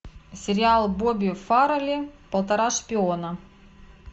сериал бобби фаррелли полтора шпиона